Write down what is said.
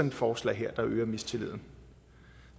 et forslag her der øger mistilliden